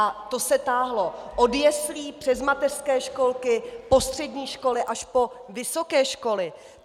A to se táhlo od jeslí přes mateřské školky po střední školy až po vysoké školy!